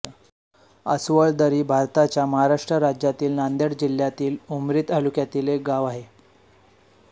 आसवळदरी हे भारताच्या महाराष्ट्र राज्यातील नांदेड जिल्ह्यातील उमरी तालुक्यातील एक गाव आहे